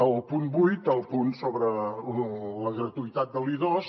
el punt vuit el punt sobre la gratuïtat de l’i2